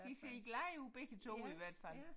De ser glade ud begge 2 i hvert fald